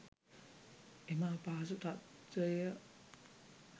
එම අපහසු තත්ත්වය,